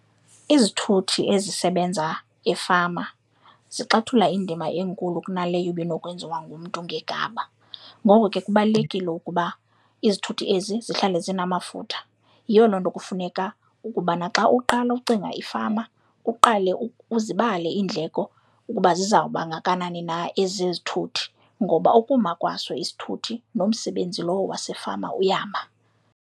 Izithuthi ezisebenza efama zixathula indima enkulu kunaleyo ibinokwenziwa ngumntu ngegama, ngoko ke kubalulekile ukuba izithuthi ezi zihlale zinamafutha. Yiyo loo nto kufuneka ukubana xa uqala ucinga ifama, uqale uzibale iindleko ukuba zizawuba kangakanani na ezezithuthi ngoba ukuma kwaso isithuthi nomsebenzi lowo wasefama uyama.